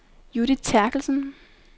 Judith Terkelsen